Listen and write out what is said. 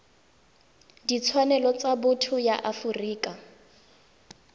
ditshwanelo tsa botho ya afrika